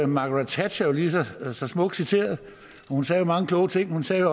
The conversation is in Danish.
margaret thatcher lige så så smukt citeret og hun sagde jo mange kloge ting hun sagde